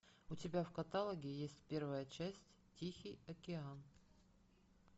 у тебя в каталоге есть первая часть тихий океан